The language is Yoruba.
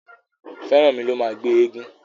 Feranmi ló má gbé éégun.